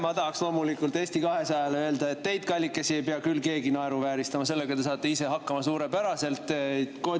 Ma tahaks loomulikult Eesti 200-le öelda: teid, kallikesed, ei pea küll keegi naeruvääristama, sellega te saate ise suurepäraselt hakkama.